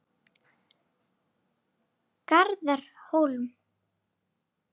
Garðar Hólm.